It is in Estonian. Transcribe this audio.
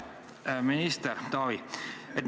Hea minister Taavi!